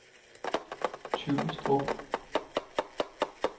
Tyrstrup